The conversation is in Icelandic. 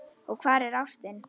Og hvar er ástin?